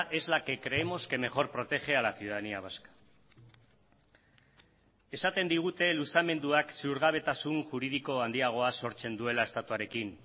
es la que creemos que mejor protege a la ciudadanía vasca esaten digute luzamenduak ziurgabetasun juridiko handiagoa sortzen duela estatuarekin